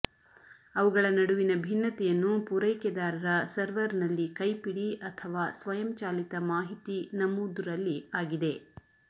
ಅವುಗಳ ನಡುವಿನ ಭಿನ್ನತೆಯನ್ನು ಪೂರೈಕೆದಾರರ ಸರ್ವರ್ನಲ್ಲಿ ಕೈಪಿಡಿ ಅಥವಾ ಸ್ವಯಂಚಾಲಿತ ಮಾಹಿತಿ ನಮೂದು ರಲ್ಲಿ ಆಗಿದೆ